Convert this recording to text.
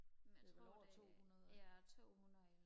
det er vel over tohundrede